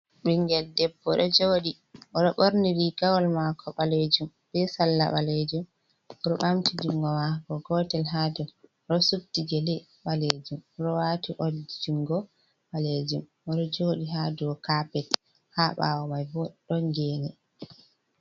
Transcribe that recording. Ɓingel debbo ɗo jooɗi oɗo ɓorni rigawol maako ɓalejum be salla ɓalejum, oɗo ɓamti jungo maako gootel ha dou oɗo suddi gele ɓalejum oɗo waati oldi jungo ɓalejum oɗo jooɗi ha dou kapet ha ɓawo mai bo ɗon geene.